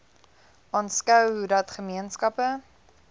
aanskou hoedat gemeenskappe